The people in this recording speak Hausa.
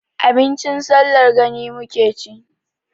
Abincin sallar gani muke ci.